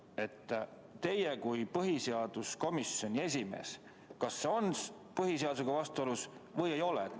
Kas teie kui põhiseaduskomisjoni esimehe arvates on see muudatus põhiseadusega vastuolus või ei ole?